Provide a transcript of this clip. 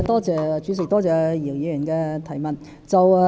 主席，多謝姚議員的質詢。